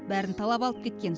бәрін талап алып кеткен